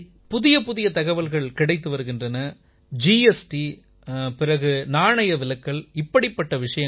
புதியபுதிய தகவல்கள் கிடைத்து வருகின்றன ஜிஎஸ்டி பிறகு நாணயவிலக்கல் இப்படிப்பட்ட விஷயங்கள்